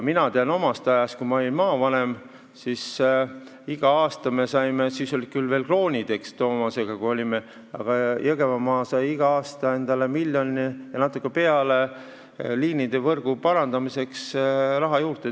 Mina tean sellest ajast, kui ma olin maavanem, et igal aastal sai – siis olid küll veel kroonid, eks, Toomas, kui me maavanemad olime – Jõgevamaa miljoni ja natuke peale liinivõrgu parandamiseks raha juurde.